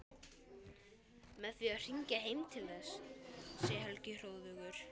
Með því að hringja heim til þess, segir Helgi hróðugur.